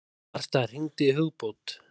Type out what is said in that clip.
Martha, hringdu í Hugbót.